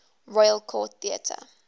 royal court theatre